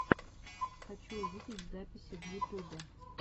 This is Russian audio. хочу увидеть записи в ютубе